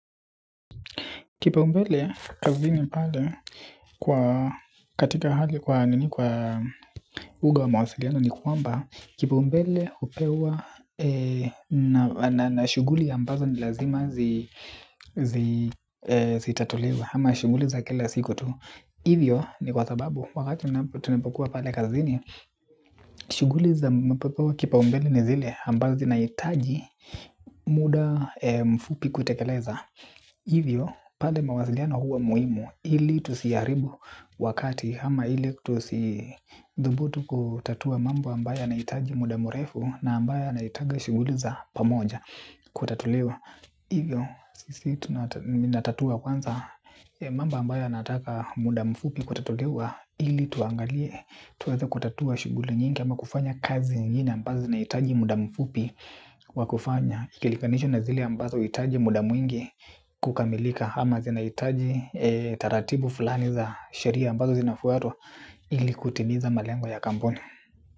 Kipaumbele kazini pale kwa katika hali kwa nini kwa uga wa mawasiliano ni kwamba kipaumbele upewa na shuguli ambazo ni lazima zitatulewe ama shuguli za kila siku tu. Hivyo ni kwa sababu wakati na tunapokuwa pale kazini shuguli za mpepewa kipaumbele ni zile ambazo zinaitaji muda mfupi kutekeleza. Hivyo pade mawaziliano huwa muhimu ili tusiaribu wakati ama ili tusithubutu kutatua mambo ambaya yanaitaji muda murefu na ambaya na itaga shuguli za pamoja kutatuliwa. Hivyo sisi minatatua kwanza mamba ambaya nataka muda mfupi kutatuliwa ili tuangalie tuwaze kutatua shuguli nyingi ama kufanya kazi nyingi ambazo zinaitaji muda mfupi wa kufanya. Ikilikanishu na zili ambazo itaji muda mwingi kukamilika ama zinaitaji taratibu fulani za sheria ambazo zinafutwa ili kutimiza malengo ya kamponi.